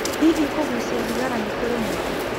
Hihi kũgucia thigara nĩ kũri mwago?